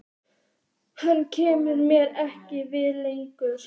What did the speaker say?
Hann kemur mér ekkert við lengur.